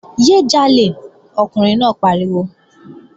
Yé é jalè! Ọkùnrin náà pariwo!